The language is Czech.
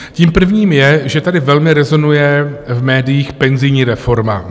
Tím prvním je, že tady velmi rezonuje v médiích penzijní reforma.